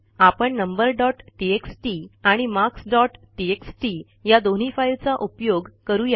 आपण number dot TXT आणि marks dot TXT या दोन्ही फाईलचा उपयोग करू या